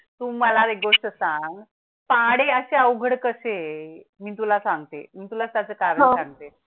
तुम्हाला गोष्ट सांग पाढे असे अवघड कसं आहे मी तुला सांगते तुला त्याचे कारण सांगते